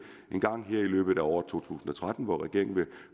engang her i løbet af året to tusind og tretten hvor regeringen vil